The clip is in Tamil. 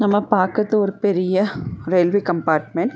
நம்ம பாக்கறது ஒரு பெரிய ரயில்வே கம்பார்ட்மென்ட் .